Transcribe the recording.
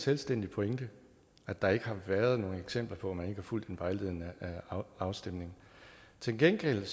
selvstændig pointe at der ikke har været nogen eksempler på at man ikke har fulgt en vejledende afstemning til gengæld